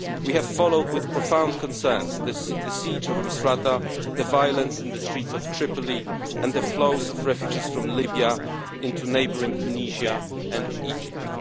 We have followed with profound concern the siege of Misrata, the violence in the streets of Tripoli and the flow of refugees from Libya into neighbouring Tunisia and Egypt.